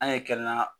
An ye kɛnɛya